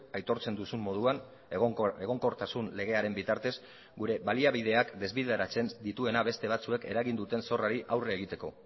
aitortzen duzun moduan egonkortasun legearen bitartez gure baliabideak desbideratzen dituena beste batzuek eragin duten zorrari aurre egiteko